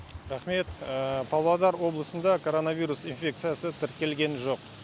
рақмет павлодар облысында коронавирус инфекциясы тіркелген жоқ